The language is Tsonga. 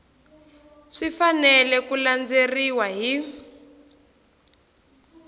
swi fanele ku landzeleriwa hi